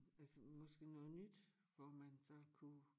Altså måske noget nyt hvor man så kunne